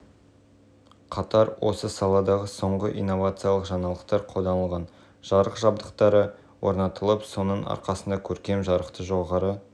сценографтардың бірегей идеяларын жүзеге асыруына жол ашады жарық беру кешенінде дәстүрлі театр қондырғылары және жүйелерімен